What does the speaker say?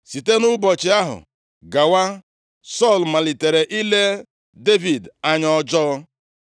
Site nʼụbọchị ahụ gawa, Sọl malitere ile Devid anya ọjọọ.